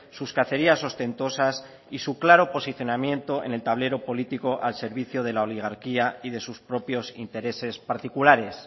sus cacerías ostentosas y su claro posicionamiento en el tablero político al servicio de la oligarquía y de sus propios intereses particulares